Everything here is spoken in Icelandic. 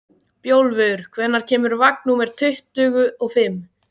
Bjólfur, hvenær kemur vagn númer tuttugu og fimm?